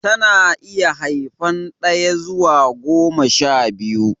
Ta na iya haifan daya zuwa goma sha biyu